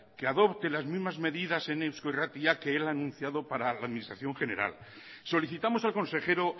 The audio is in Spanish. que adopte las mismas medidas en eusko irratia que él ha anunciado para la administración general solicitamos al consejero